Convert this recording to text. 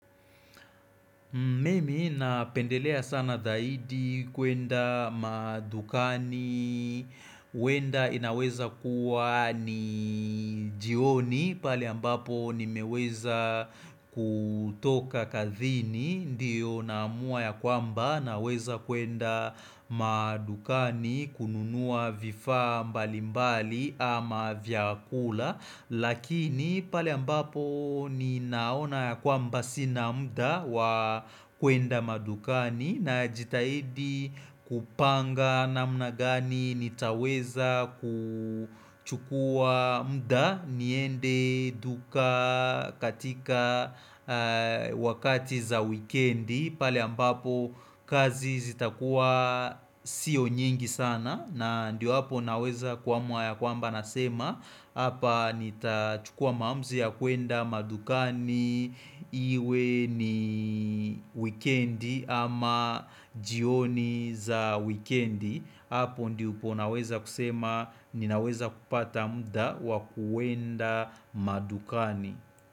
Mimi napendelea sana zaidi kuenda madukani, wenda inaweza kuwa ni jioni pali ambapo nimeweza kutoka kazini, ndiyo naamua ya kwamba naweza kuenda madukani kununua vifaa mbalimbali ama vyakula Lakini pale ambapo ninaona ya kwamba sina mda wa kuenda madukani najitahidi kupanga na namna gani nitaweza kuchukua mda niende duka katika wakati za wikendi. Pali ambapo kazi zita kuwa sio nyingi sana na ndio hapo naweza kuamua ya kwamba nasema Hapa nita chukua maamzi ya kuenda madukani Iwe ni wikendi ama jioni za wikendi Hapo ndipo unaweza kusema ninaweza kupata muda wa kuenda madukani.